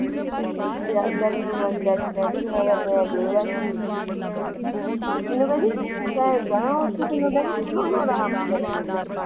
ਮੈਨੂੰ ਕਹਿੰਦੀ ਜਾਣਾ ਹੈ ਤੋਂ ਕਿੰਨੇ ਦਿਨ ਤੋਂ ਮੈਨੂੰ ਆਰਾਮ ਨਹੀਂ ਕਰਨ